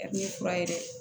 fura ye dɛ